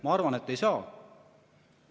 Ma arvan, et ei saa.